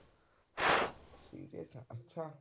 ਅੱਛਾ